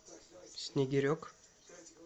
снегирек